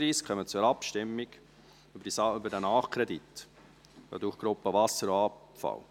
Wir kommen zur Abstimmung über diesen Nachkredit, Produktgruppe Wasser und Abfall.